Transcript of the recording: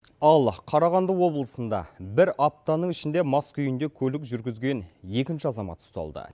ал қарағанды облысында бір аптаның ішінде мас күйінде көлік жүргізген екінші азамат ұсталды